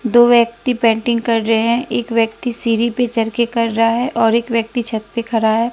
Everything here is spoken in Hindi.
दो व्यक्ति पेंटिंन कर रहे हैं एक व्यक्ति सीढ़ी पे चढ़ के कर रहा है और एक व्यक्ति छत पे खड़ा है।